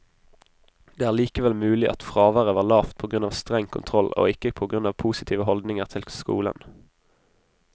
Det er likevel mulig at fraværet var lavt på grunn av streng kontroll, og ikke på grunn av positive holdninger til skolen.